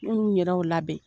Munun yɛrɛw y'u labɛn